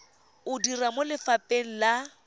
o dira mo lefapheng la